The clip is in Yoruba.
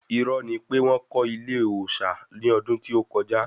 Irọ́ ni pé wọ́n kọ́ ilé òòsà ní ọdún tí ó kọjá